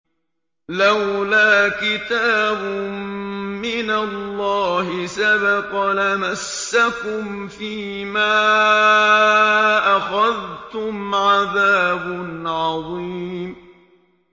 لَّوْلَا كِتَابٌ مِّنَ اللَّهِ سَبَقَ لَمَسَّكُمْ فِيمَا أَخَذْتُمْ عَذَابٌ عَظِيمٌ